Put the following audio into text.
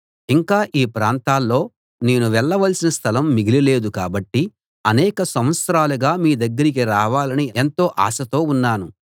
ఇక ఈ ప్రాంతాల్లో నేను వెళ్ళవలసిన స్థలం మిగిలి లేదు కాబట్టి అనేక సంవత్సరాలుగా మీ దగ్గరికి రావాలని ఎంతో ఆశతో ఉన్నాను